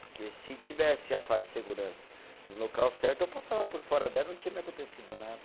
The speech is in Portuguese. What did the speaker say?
Porque se tivesse a faixa de segurança no local certo, eu passava por fora dela, não tinha me acontecido nada.